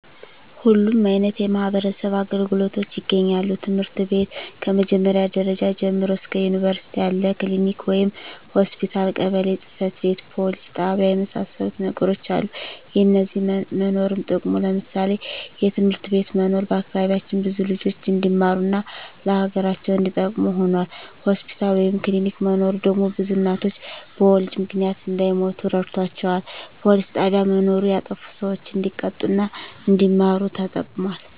ሁሉም አይነት የማህበረሰብ አገልግሎቶች ይገኛሉ ትምህርት ቤት ከ መጀመሪያ ደረጃ ጀምሮ እስከ ዩኒቨርስቲ አለ፣ ክሊኒክ ወይም ሆስፒታል፣ ቀበሌ ጽ/ቤት፣ ፖሊስ ጣቢያ የመሳሰሉት ነገሮች አሉ። የነዚህ መኖርም ጥቅሙ ለምሳሌ፦ የትምህርት ቤት መኖር በአካባቢያችን ብዙ ልጆች እንዲማሩ እና ለሀገራቸው እንዲጠቅሙ ሁኗል። ሆስፒታል ወይም ክሊኒክ መኖሩ ደግሞ ብዙ እናቶች በወሊድ ምክንያት እንዳይሞቱ ረድቷቸዋል። ፖሊስ ጣቢያ መኖሩ ያጠፉ ሰዎች እንዲቀጡ እና አንዲማሩ ተጠቅሟል።